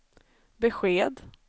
besked